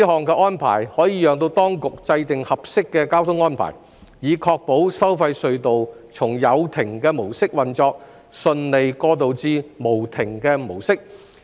這項安排可讓當局制訂合適的交通安排，以確保收費隧道從有亭模式運作順利過渡至無亭模式。